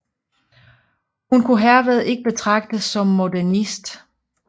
Hun kunne herved ikke betragtes som modernist